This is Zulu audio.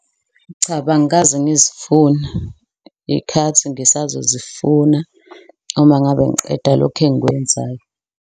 Cha bo, angikaze ngizifuna ikhathi ngisazo zifuna uma ngabe ngiqeda lokho engikwenzayo.